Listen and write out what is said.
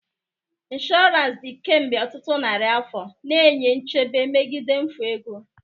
Insurance dị kemgbe ọtụtụ narị afọ, na-enye nchebe megide mfu ego.